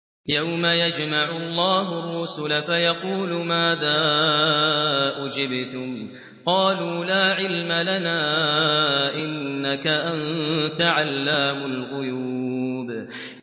۞ يَوْمَ يَجْمَعُ اللَّهُ الرُّسُلَ فَيَقُولُ مَاذَا أُجِبْتُمْ ۖ قَالُوا لَا عِلْمَ لَنَا ۖ إِنَّكَ أَنتَ عَلَّامُ الْغُيُوبِ